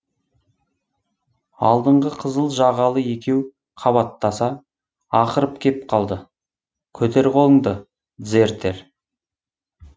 алдыңғы қызыл жағалы екеу қабаттаса ақырып кеп қалды көтер қолыңды дзертер